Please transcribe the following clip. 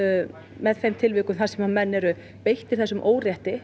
með þeim tilvikum þar sem menn eru beittir þessum órétti